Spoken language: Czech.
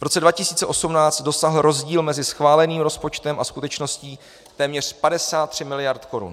V roce 2018 dosáhl rozdíl mezi schváleným rozpočtem a skutečností téměř 53 miliard korun.